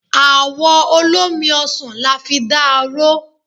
Àwọ olómi ọsàn la fi da aró.